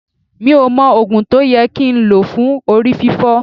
Mi ò mọ Ògùn tó yẹ kí n lò fún Orí fiífọ́.